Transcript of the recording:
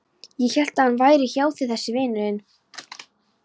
Ég hélt að hann væri hjá þér þessi vinur þinn.